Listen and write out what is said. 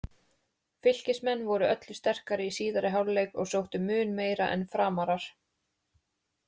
Fylkismenn voru öllu sterkari í síðari hálfleik og sóttu mun meira en FRAMARAR.